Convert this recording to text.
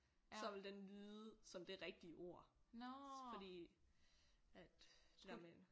Så ville den lyde som det rigtige ord fordi at det der med